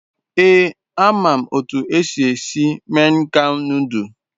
Ee, a mam otu esi esi mian kham nodul